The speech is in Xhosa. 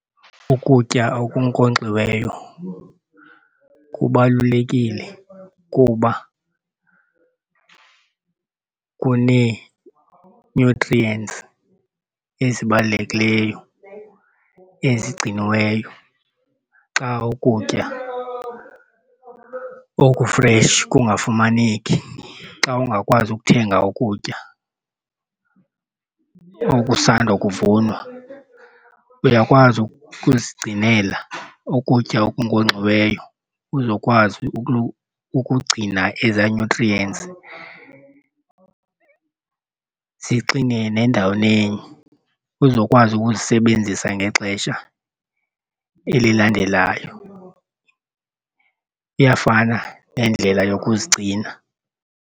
Ukutya okunkonkxiweyo kubalulekile kuba kunee-nutrients ezibalulekileyo ezigciniweyo xa ukutya okufresh kungafumaneki. Xa ungakwazi ukuthenga ukutya okusanda kuvunwa uyakwazi ukuzigcinela ukutya okunkonxiweyo uzokwazi ukugcina ezaa nutrients zixinene endaweni enye uzokwazi ukuzisebenzisa ngexesha elilandelayo, iyafana nendlela yokuzigcina.